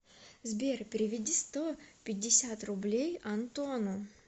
сбер переведи сто пятьдесят рублей антону